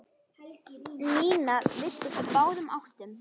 Nína virtist á báðum áttum.